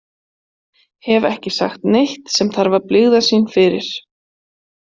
Hef ekki sagt neitt sem þarf að blygðast sín fyrir.